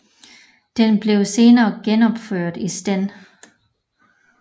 Den blev senere genopført i sten